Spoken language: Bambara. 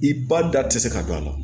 I ba da ti se ka don a la